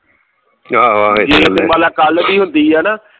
ਦੀਪਮਾਲਾ ਕੱਲ ਵੀ ਹੁੰਦੀ ਆ ਨਾ